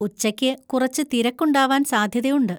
ഉച്ചയ്ക്ക് കുറച്ച് തിരക്കുണ്ടാവാൻ സാധ്യതയുണ്ട്.